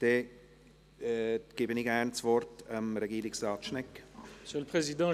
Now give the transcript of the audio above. Dann gebe ich gerne Regierungsrat Schnegg das Wort.